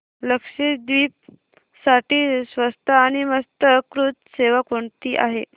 लक्षद्वीप साठी स्वस्त आणि मस्त क्रुझ सेवा कोणती आहे